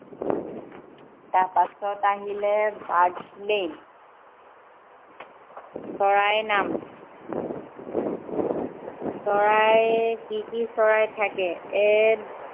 তাৰপিছত আহিলে birds name চৰাইৰ নাম চৰাইৰ কি কি চৰাই থাকে, এক